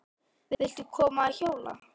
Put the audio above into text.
Viltu koma að hjóla?